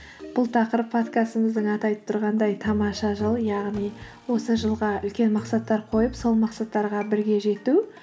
бұл тақырып подкастымыздың аты айтып тұрғандай тамаша жыл яғни осы жылға үлкен мақсаттар қойып сол мақсаттарға бірге жету